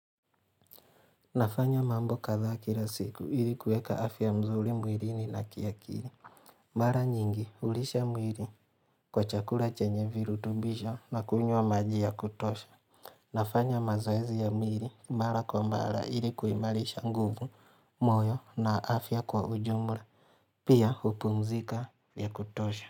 Nafanya mambo kadhaa kila siku ili kueka afya mzuri mwilini na kiakili. Mara nyingi hulisha mwili kwa chakula chenye virutumbisho na kunywa maji ya kutosha. Nafanya mazoezi ya mwili mara kwa mara ili kuimarisha nguvu, moyo na afya kwa ujumla. Pia hupumzika vya kutosha.